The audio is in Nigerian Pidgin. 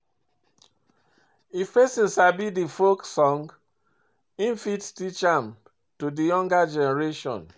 If perosn sabi di folk song im fit teach am to di younger generation